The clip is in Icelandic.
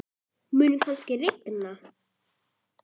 Mun kannski rigna?